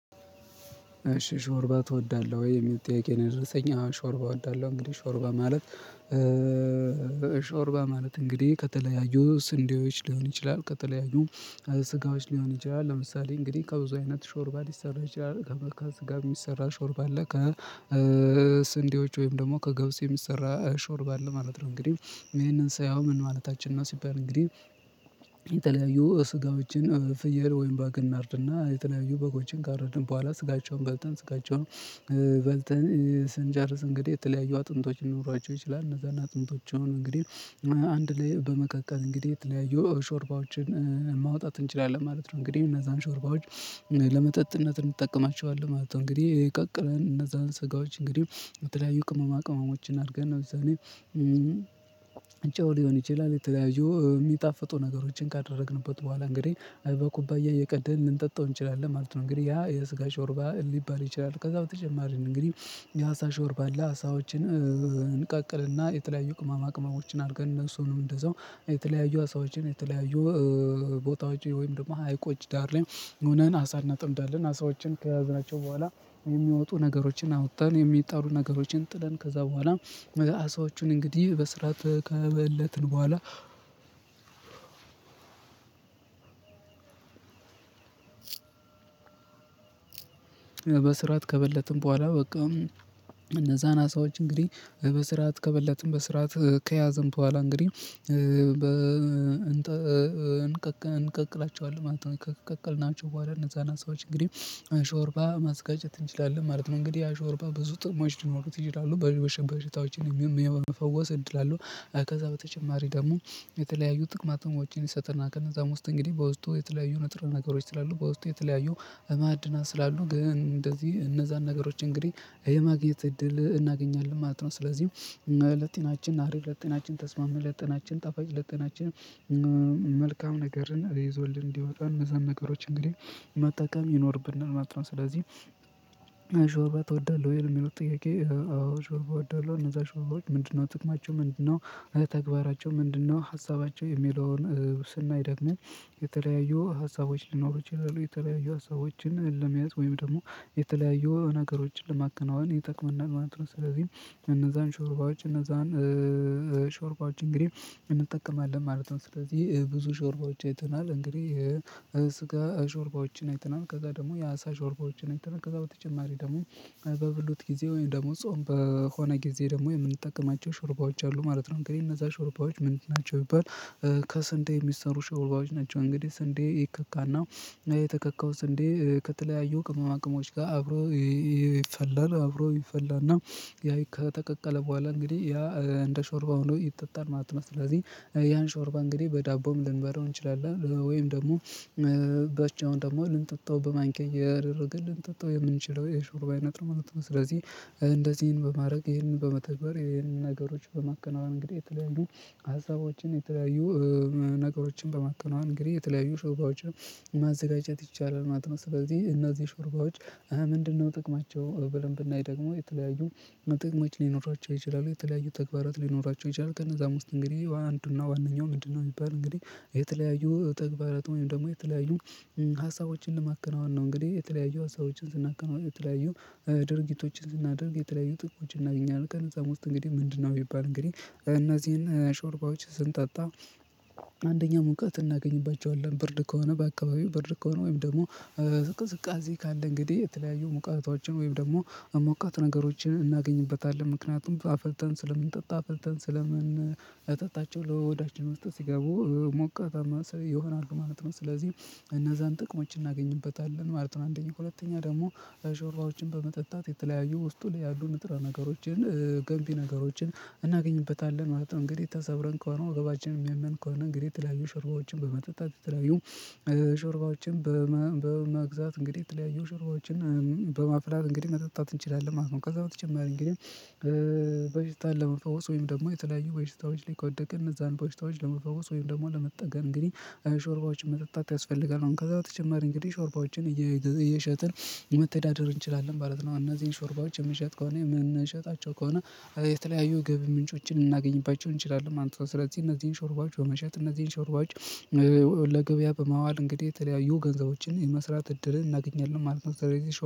እሺ ሾርባ ትወዳለህ ወይ የሚል ጥያቄ ነው? የደረሰኝ አወ ሾርባ እወዳለሁ። እንግዲህ ሾርባ ማለት ሾርባ ማለት እንግዲህ ከተለያዩ ስንዴዎች ሊሆን ይችላል። ከተለያዩ ስጋዎች ሊሆን ይችላል። ለምሳሌ እንግዲህ ከብዙ አይነት ሾርባ ሊሰራ ይችላል ከመ ስጋ የሚሰራ ሾርባ አለ። ከስንዴዎች ወይም ደግሞ ከገብስ የሚሰራ ሾርብ ማለት ነው። እንግዲህ ይሄንን ሳየው ምን ማለታችን ነው? ሲባል እንግዲህ። የተለያዩ ስጋዎችን ፍየል ወይም በግ እናርድና የተለያዩ በጎችን ካረድን በኋላ ስጋቸውን በልተን ስጋቸውን በልተን ስንጨርስ እንግዲህ የተለያዩ አጥንቶች ሊኖራቸው ይችላል። እነዛን አጥንቶች አሁን እንግዲህ አንድ ላይ በመቀቀል እንግዲህ የተለያዩ ሾርባዎችን ማውጣት እንችላለን ማለት ነው። እንግዲህ እነዛን ሾርባዎች ለመጠጥነት እንጠቀማቸዋለን ማለት ነው። እንግዲህ የቀቅለን እነዛን ስጋዎች እንግዲህ በተለያዩ ቅመማ ቅመሞችን አድርገን ለምሳሌ። ጨው ሊሆን ይችላል የተለያዩ የሚጣፍጡ ነገሮችን ካደረግንበት በኋላ እንግዲህ በኩባያ እየቀዳን ልንጠጣው እንችላለን ማለት ነው። እንግዲህ ያ የስጋ ሾርባ ሊባል ይችላል። ከዛው ተጨማሪ እንግዲህ የአሳ ሾርባ አለ። አሳዎችን እንቀቅልና የተለያዩ ቅማማ ቅማሞችን አድርገን እነሱንም እንደዛው የተለያዩ አሳዎችን የተለያዩ ቦታዎች ወይም ደግሞ ሀይቆች ዳር ላይ ሆነን አሳ እናጠምዳለን አሳዎችን ከያዝናቸው በኋላ የሚወጡ ነገሮችን አውጥተን የሚጣሉ ነገሮችን ጥለን ከዛ በኋላ አሳዎቹን እንግዲህ በስራት ከበለትን በኋላ። በስራት ከበለትን በኋላ በቃ እነዛን አሳዎች እንግዲህ በስርዓት ከበለትን በስርዓት ከያዘን በኋላ እንግዲህ እንቀቅላቸዋለን ማለት ነው። ከቀቀልናቸው በኋላ እነዛን ሰዎች እንግዲህ አሾርባ ማዘጋጀት እንችላለን ማለት ነው። እንግዲህ አሾርባ ብዙ ጥቅሞች ሊኖሩት ይችላሉ በሽታዎችን የመፈወስ እድል አለው። ከዛ በተጨማሪ ደግሞ የተለያዩ ጥቅማጥቅሞችን ይሰጥናል። ከነዛም ውስጥ እንግዲህ በውስጡ የተለያዩ ነጥር ነገሮች ስላሉ በውስጡ የተለያዩ ማዕድናት ስላሉ ግን እንደዚህ እነዛን ነገሮች እንግዲህ የማግኘት እድል እናገኛለን ማለት ነው። ስለዚህ ለጤናችን አሪፍ ለጤናችን ተስማሚ ለጤናችን ጣፋጭ ለጤናችን መልካም ነገርን ይዞልን እንዲወጣ እነዛን ነገሮች እንግዲህ መጠቀም ይኖርብናል ማለት ነው። ስለዚህ ሽዖርባ ትወዳለህ ወይ የሚለው ጥያቄ? አዎ ሾርባ እወዳለሁ። እነዛ ሾርባዎች ምንድነው? ጥቅማቸው ምንድነው? ተግባራቸው ምንድነው? ሀሳባቸው የሚለውን ስናይ ደግሞ የተለያዩ ሀሳቦች ሊኖሩ ይችላሉ የተለያዩ ሀሳቦችን ለመያዝ ወይም ደግሞ የተለያዩ ነገሮችን ለማከናወን ይጠቅመናል ማለት ነው። ስለዚህ እነዛን ሾርባዎች እነዛን ሾርባዎች እንግዲህ እንጠቀማለን ማለት ነው። ስለዚህ ብዙ ሾርባዎች አይተናል እንግዲህ ይሄ ስጋ ሾርባዎችን አይተናል። ከዛ ደግሞ የአሳ ሾርባዎችን ከዛ በተጨማሪ ደግሞ በብሎት ጊዜ ወይም ደግሞ ጾም በሆነ ጊዜ ደግሞ የምንጠቀማቸው ሹርባዎች አሉ ማለት ነው። እንግዲህ እነዛ ሹርባዎች ምንድን ናቸው ቢባል? ከስንዴ የሚሰሩ ሽዖርባዎች ናቸው። እንግዲህ ስንዴ ይከካና የተከካው ስንዴ ከተለያዩ ቅመማቅሞች ጋር አብሮ ይፈላል አብሮ ይፈላል። እና ያ ከተቀቀለ በኋላ እንግዲህ ያ እንደ ሾርባ ሆኖ ይጠጣል ማለት ነው። ስለዚህ ያን ሾርባ እንግዲህ በዳቦም ልንበላው እንችላለን ወይም ደግሞ በቻውን ደግሞ ልንጠጣው በማንኪያ እያደረን ልንጠጣው የምንችለው የሹርባ አይነት ነው ማለት ነው። ስለዚህ እንደዚህ ይሄን በማድረግ ይሄንን በመተግበር ይሄንን ነገሮች በመከናወን እንግዲህ የተለያዩ ሀሳቦችን የተለያዩ ነገሮችን በማከናወን እንግዲህ የተለያዩ ሾርባዎችን ማዘጋጀት ይቻላል ማለት ነው። በዚህ እነዚህ ሾርባዎች ምንድነው? ጥቅማቸው ብለን ብናይ ደግሞ የተለያዩ ትቅሞች ሊኖራቸው ይችላሉ። የተለያዩ ተግባራት ሊኖራቸው ይችላሉ። ከነዛ ውስጥ እንግዲህ አንዱና ዋነኛው ምንድነው? የሚባል እንግዲህ የተለያዩ ተግባራት ወይም ደግሞ የተለያዩ ሀሳቦችን ለማከናወን ነው። እንግዲህ የተለያዩ ሀሳቦችን ስናከናውን የተለያዩ ድርጊቶችን ስናደርግ የተለያዩ ጥቅሞች እናገኛለን ከነ እዛም ውስጥ እንግዲህ ምንድነው የሚባል እንግዲህ እነዚህን ሾርባዎች ስንጠጣ። አንደኛ ሙቀት እናገኝባቸዋለን ብርድ ከሆነ በአካባቢው ብርድ ከሆነ ወይም ደግሞ ዝቅዝቃዜ ካለ እንግዲህ የተለያዩ ሙቀቶቻችን ወይም ደግሞ ሞቃት ነገሮችን እናገኝበታለን ምክንያቱም አፍልተን ስለምንጠጣ አፍልተን ስለምን ጠጣቸው ለወዳችን ውስጥ ሲገቡ ሞቃታማ ሰው ይሆናሉ ማለት ነው። ስለዚህ እነዛን ጥቅሞች እናገኝበታለን ማለት ነው። አንደኛ ሁለተኛ ደግሞ ሾርባዎችን በመጠጣት የተለያዩ ውስጡ ለያሉ ንጥራ ነገሮችን ገንቢ ነገሮችን እናገኝበታለን ማለት ነው። እንግዲህ ተሰብረን ከሆነ ወገባችንን የሚያመን ከሆነ እንግዲህ የተለያዩ ሽርጓዎችን በመጠጣት የተለያዩ ሽርባዎችን በመግዛት እንግዲህ የተለያዩ ሽዖርባወችን በማፍላት እንግዲህ መጠጣት እንችላለን ማለት ነው። ከዛ በተጨማሪ እንግዲህ በሽታ ለመፈወስ ወይም ደግሞ የተለያዩ በሽታዎች ላይ ከወደቅን እዛን በሽታወች ለመፈወስ ወይም ደግሞ ለመጠገን እንግዲህ ሾርባዎች መጠጣት ያስፈልጋል። ከዛ በተጨማሪ እንግዲህ ሾርባዎችን እየሸጥን መተዳደር እንችላለን ማለት ነው። እነዚህን ሾርባዎች የምንሸጥ ከሆነ የምንሸጣቸው ከሆነ የተለያዩ ግቢ ምንጮችን እናገኝባቸው እንችላለን ማለት ነው። ስለዚህ እነዚህን ሾርባዎች በመሸጥ እነዚህን ሾርባዎች ለገበያ በማዋል እንግዲህ የተለያዩ ገንዘቦችን የመስራት እድር እናገኛለን ማለት ነው። ስለዚህ